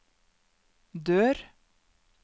dør